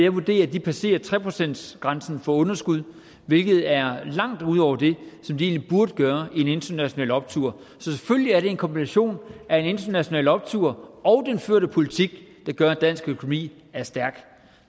vurdere at de passerer tre procentsgrænsen for underskud hvilket er langt ud over det som det egentlig burde være i en international optur så selvfølgelig er det en kombination af en international optur og den førte politik der gør at dansk økonomi er stærk